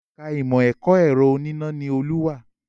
Ẹ̀ka Ìmọ̀ ẹ̀kọ́ ẹ̀rọ oníná ni Olú wà